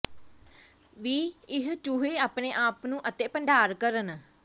ਵੀ ਇਹ ਚੂਹੇ ਆਪਣੇ ਆਪ ਨੂੰ ਅਤੇ ਭੰਡਾਰ ਕਰਨ